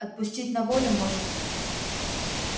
отпустить на волю может